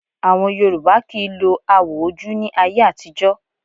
Àwọn Yorùbá kì í lo awò ojú ní ayé àtijọ́